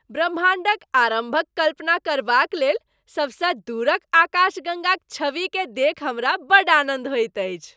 ब्रह्माण्डक आरम्भक कल्पना करबाक लेल सबसँ दूरक आकाशगङ्गाक छविकेँ देखि हमरा बड्ड आनन्द होइत अछि।